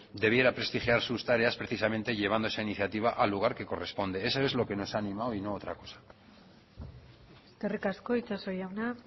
debiera prestigiar sus tareas precisamente llevando esa iniciativa al lugar que corresponde eso es lo que nos ha animado y no otra cosa eskerrik asko itxaso jauna